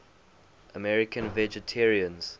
american vegetarians